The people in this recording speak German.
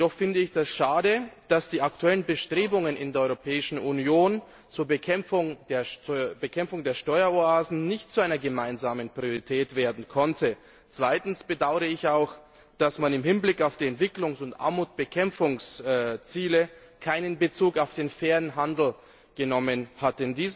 Jedoch finde ich es schade, dass die aktuellen Bestrebungen in der Europäischen Union zur Bekämpfung der Steueroasen nicht zu einer gemeinsamen Priorität werden konnten. Zweitens bedaure ich auch, dass man im Hinblick auf die Entwicklungs und die Armutsbekämpfungsziele keinen Bezug auf den fairen Handel genommen hat.